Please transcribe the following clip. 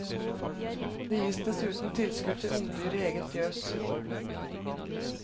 Det gis dessuten tilskudd til ungdyr i eget fjøs.